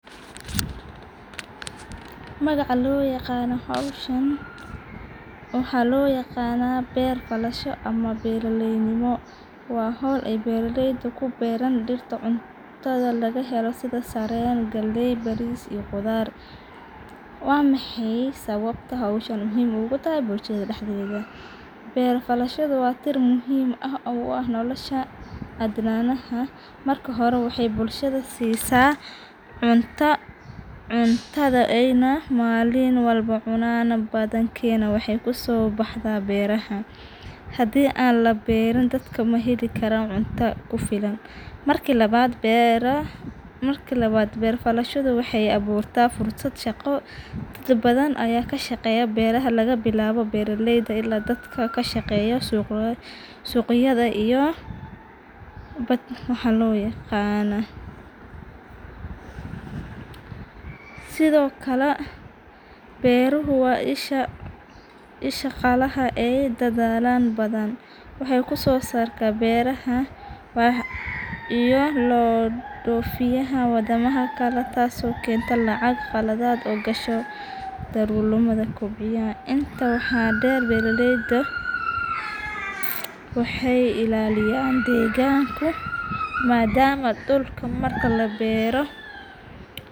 Magaca liyaqano hoshan waxaa loyaqana beer falasha ama beera ley nimo waa hol ee ku beeran bera leyda cunotadha laga helo sitha saren galey qudhar baris waa maxey sawabta ee muhiim ogu tahay bulshaada daxdedha, beer falashada waa xer muhiim ah nolosha adnanaha marka hore waxee bulshada sisa cunta, cuntadha ee malin walba cunan wadankena waxee kuso baxda beraha hadii an laberin dadka maheli karan cunta kufilan, marka lawad beer aburashada waxee fasha shaqo das badan aya kasha qeya beeraha laga bilawo beera leyda ila dadka kashaqeya suqyaada iyo bad waxan lo yaqana, sithokale beruhu waa isha qalan oo dadhala waxee usosaran beeraha iyo lodfiyaha tas oo kenta qaladad darurmadha beera leyda waxee ilaliyan deganka madama dulka marki labero.